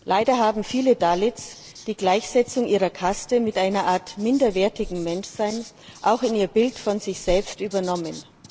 Leider haben viele Dalits die Gleichsetzung ihrer Kaste mit einer Art minderwertigem Menschsein auch in ihr Bild von sich selbst übernommen.